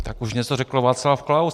Tak už něco řekl Václav Klaus.